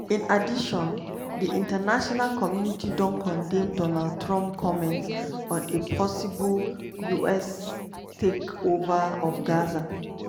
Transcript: in addition di international community don condemn donald trump comments on a possible us "take over" of gaza.